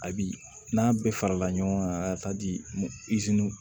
A bi n'a bɛɛ farala ɲɔgɔn kan a ka taa di